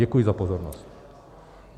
Děkuji za pozornost.